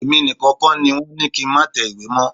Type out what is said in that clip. Èmi nìkan kọ́ ni wọ́n ni kí n má tẹ ìwé mọ́.